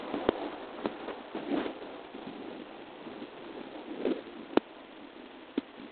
ore too nkatitin kumok ore entoki nayau ena moyian orbonko naa meyioloi